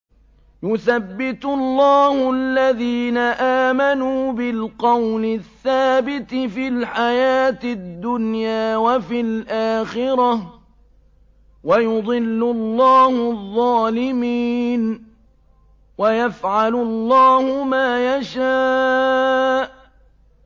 يُثَبِّتُ اللَّهُ الَّذِينَ آمَنُوا بِالْقَوْلِ الثَّابِتِ فِي الْحَيَاةِ الدُّنْيَا وَفِي الْآخِرَةِ ۖ وَيُضِلُّ اللَّهُ الظَّالِمِينَ ۚ وَيَفْعَلُ اللَّهُ مَا يَشَاءُ